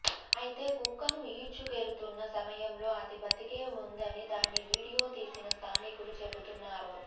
అయితే కుక్కను ఈడ్చుకెళుతున్న సమయంలో అది బతికే ఉందని దాన్ని వీడియో తీసిన స్థానికులు చెబుతున్నారు